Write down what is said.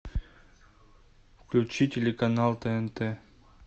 включи телеканал тнт